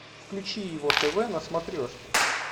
включи его тв на смотрешке